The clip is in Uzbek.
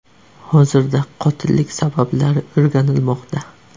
Hozirda qotillik sabablari o‘rganilmoqda.